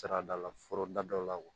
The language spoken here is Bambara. Saradala forobada la wa